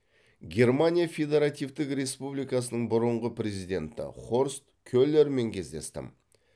германия федеративтік республикасының бұрынғы президенті хорст келермен кездестім